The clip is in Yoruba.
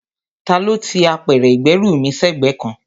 Ta ló ti apẹ̀rẹ̀ ìgbẹ́rù mí sẹ́gbẹ̀ẹ́ kan?